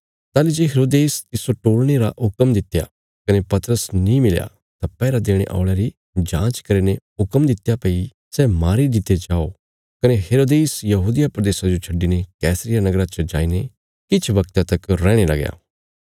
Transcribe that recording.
ताहली जे हेरोदेस तिस्सो टोल़णे रा हुक्म दित्या कने पतरस नीं मिलया तां पैहरा देणे औल़यां री जाँच करीने हुक्म दित्या भई सै मारी दित्ते जाओ कने हैरोदेश यहूदिया प्रदेशा जो छड्डिने कैसरिया नगरा च जाईने किछ वगता तक रैहणे लगया